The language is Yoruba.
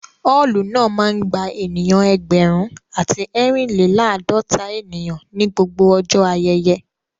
Ọ́ọ̀lù náà máa ń gba ènìyàn ẹgbẹ̀rún àti ẹrin-le-laadota ènìyàn ní gbogbo ọjọ́ ayẹyẹ